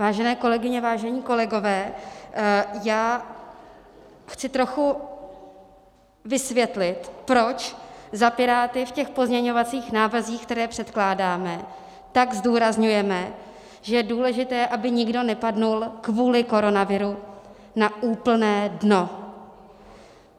Vážené kolegyně, vážení kolegové, já chci trochu vysvětlit, proč za Piráty v těch pozměňovacích návrzích, které předkládáme, tak zdůrazňujeme, že je důležité, aby nikdo nepadnul kvůli koronaviru na úplné dno.